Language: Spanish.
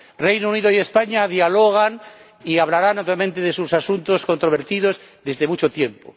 El Reino Unido y España dialogan y hablan obviamente de sus asuntos controvertidos desde hace mucho tiempo.